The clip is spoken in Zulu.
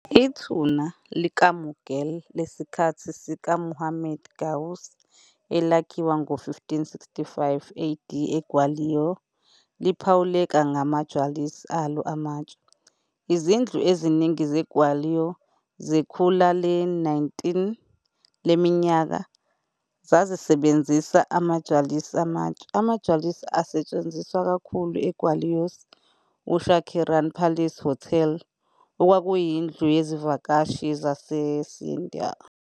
Ithuna likaMughal lesikhathi sikaMuhammad Ghaus elakhiwa ngo-1565 AD eGwalior liphawuleka ngama-jalis alo amatshe. Izindlu eziningi zeGwalior zekhulu le-19 leminyaka zazisebenzisa ama-jalis amatshe. AmaJalis asetshenziswa kakhulu eGwalior's Usha Kiran Palace Hotel, okwakuyindlu yezivakashi yaseScindia.